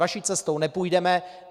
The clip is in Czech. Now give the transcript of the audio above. Vaší cestou nepůjdeme.